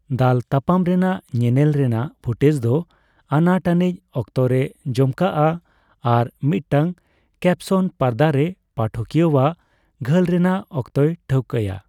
ᱫᱟᱞ ᱛᱟᱯᱟᱢ ᱨᱮᱱᱟᱜ ᱧᱮᱱᱮᱞ ᱨᱮᱱᱟᱜ ᱯᱷᱩᱴᱮᱡᱽ ᱫᱚ ᱟᱱᱟᱴ ᱟᱹᱱᱤᱡ ᱚᱠᱛᱚᱨᱮ ᱡᱚᱢᱠᱟᱜᱼᱟ, ᱟᱨ ᱢᱤᱫᱴᱟᱝ ᱠᱮᱯᱥᱚᱱ ᱯᱚᱨᱫᱟᱨᱮ ᱯᱟᱴᱷᱠᱤᱭᱟᱣᱟᱜ ᱜᱷᱟᱹᱞ ᱨᱮᱱᱟᱜ ᱚᱠᱛᱚᱭ ᱴᱷᱟᱣᱠᱟᱭᱟ ᱾